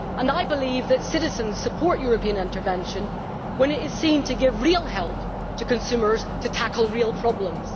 I believe that citizens support European intervention when it is seen to give real help to consumers to tackle real problems.